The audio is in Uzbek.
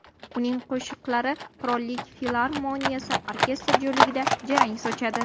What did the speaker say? Uning qo‘shiqlari Qirollik filarmoniyasi orkestri jo‘rligida jarang sochadi.